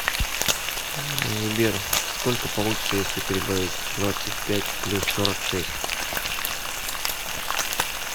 сбер сколько получится если прибавить двадцать пять плюс сорок шесть